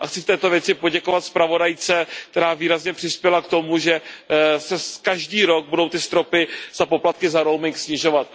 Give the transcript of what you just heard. Chci v této věci poděkovat zpravodajce, která výrazně přispěla k tomu, že se každý rok budou ty stropy za poplatky za roaming snižovat.